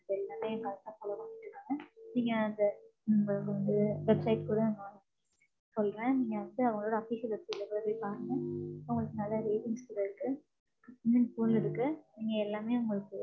எல்லாமே correct ஆ, follow பண்ணிட்டு இருக்காங்க. நீங்க அந்த உம் வந்து website கூட நான் சொல்றேன், நீங்க வந்து அவங்களோட official website ல போய் பாருங்க. உங்களுக்கு நிறைய ratings கூட இருக்கு. உம் full ல இருக்கு. நீங்க எல்லாமே உங்களுக்கு